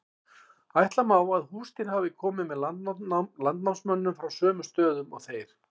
ætla má að húsdýr hafi komið með landnámsmönnum frá sömu stöðum og þeir